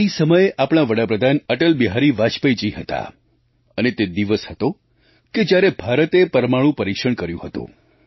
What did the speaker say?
તે સમયે આપણા વડાપ્રધાન અટલબિહારી વાજપેયી હતા અને તે દિવસ હતો કે જયારે ભારતે પરમાણુ પરિક્ષણ કર્યું હતું